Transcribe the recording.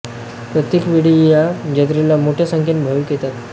प्रत्येक वेळी या जत्रेला मोठ्या संख्येने भाविक येतात